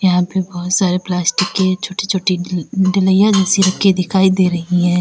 यहां पे बहुत सारे प्लास्टिक के छोटे छोटे दिखाई दे रही है।